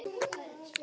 Er ekki steik fyrst?